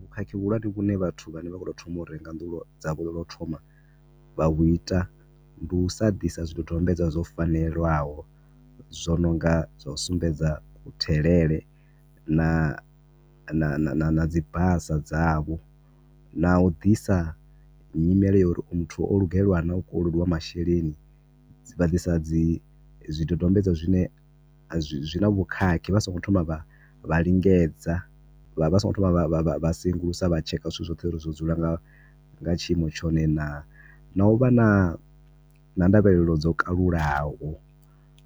Vhukhakhi vhu hulwane vhu ne vhathu vha ne vha khou to thoma u renga nnḓu lwo, dzavho lwa u to thoma, vha lu ita, ndi u sa ḓisa zwidodombedzwa zwo fanela zwo nonga zwa u sumbedza ku thelele na na na na na dzi basa dza vho, na u ḓisa nyimele ya uri o yu muthu o lugeliwa nah u kolodiwa masheleni, vha disa zwi dodombedzwa zwine zwi na vhukhakhi, vha si ngo thoma vha lingedza, vha songo thoma vha vha vha sengulusa zwithu zwoṱhe uri zwo dzula nga tshiimo tshone naa, na u vha na, na ndavhelelo dzo kalulaho